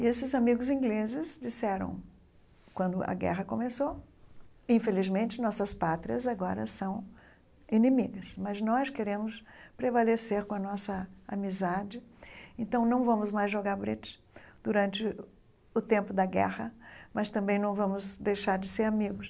E esses amigos ingleses disseram, quando a guerra começou, infelizmente nossas pátrias agora são inimigas, mas nós queremos prevalecer com a nossa amizade, então não vamos mais jogar bridge durante o tempo da guerra, mas também não vamos deixar de ser amigos.